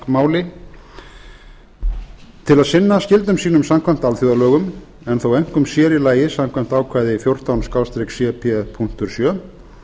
til að sinna skyldum sínum samkvæmt alþjóðalögum en þó einkum og sér í lagi samkvæmt ákvæði fjórtán cp sjö